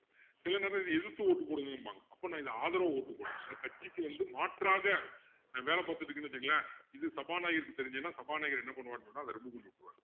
சிலநேரம் இதை எதிர்த்து vote போடுங்கம்பாங்க அப்பா நான் இதை ஆதரவு vote போடுறேன் அப்போ கட்சிக்கு வந்து நான் மாற்றாக நான் வேலை பாத்துட்டுருக்கேன்னு வச்சிக்கோங்களேன் இது சபாநாயகருக்கு தெரிஞ்சுதுன்னா சபாநாயகர் என்ன பண்ணுவாருன்னு சொன்னா அதை remove பண்ணி விட்டுருவாரு